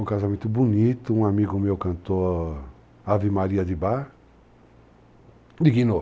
Um casamento bonito, um amigo meu cantor, Ave Maria de Bá, dignou.